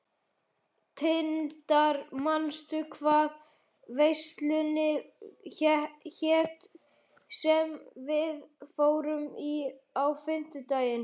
Tindar, manstu hvað verslunin hét sem við fórum í á fimmtudaginn?